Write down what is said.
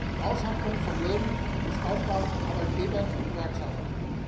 Die Aushandlung von Löhnen ist Aufgabe von Arbeitgebern und Gewerkschaften.